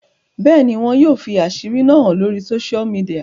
Bẹ́ẹ̀ni, wọn yoo fi asiri náa han lori sósial mìdìya.